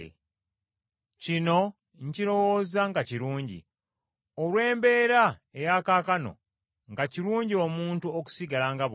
Kino nkirowooza nga kirungi, olw’embeera eya kaakano, nga kirungi omuntu okusigala nga bw’ali.